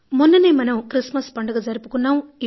మొన్ననే మనం క్రిస్మస్ పండుగ జరుపుకున్నాం